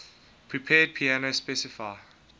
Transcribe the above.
prepared piano specify